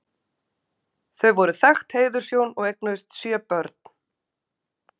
Þau voru þekkt heiðurshjón og eignuðust sjö börn.